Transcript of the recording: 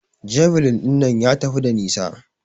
Javeline ɗinnan ya tafi da nisa.